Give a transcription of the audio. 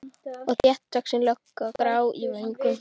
Og þéttvaxin lögga, grá í vöngum.